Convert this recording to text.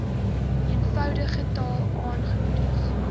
eenvoudige taal aangemoedig